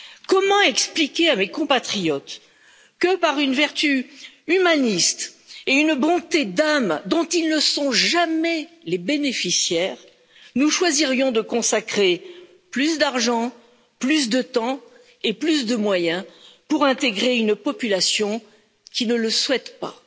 Comment expliquer à mes compatriotes que, par une vertu humaniste et une bonté d'âme dont ils ne sont jamais les bénéficiaires, nous choisirions de consacrer plus d'argent, plus de temps et plus de moyens pour intégrer une population qui ne le souhaite pas?